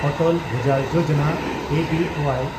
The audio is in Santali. ᱚᱴᱚᱞ ᱵᱷᱩᱡᱟᱞ ᱡᱳᱡᱚᱱᱟ (ᱮᱹ ᱵᱤ ᱳᱣᱟᱭ)